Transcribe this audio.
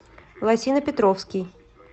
лосино петровский